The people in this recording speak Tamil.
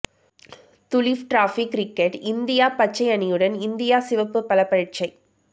துலீப் டிராபி கிரிக்கெட் இந்தியா பச்சை அணியுடன் இந்தியா சிவப்பு பலப்பரீட்சை